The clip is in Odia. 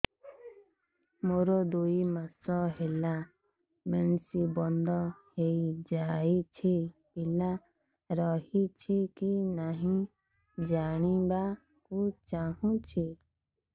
ମୋର ଦୁଇ ମାସ ହେଲା ମେନ୍ସ ବନ୍ଦ ହେଇ ଯାଇଛି ପିଲା ରହିଛି କି ନାହିଁ ଜାଣିବା କୁ ଚାହୁଁଛି